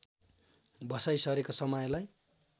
बसाइँ सरेको समयलाई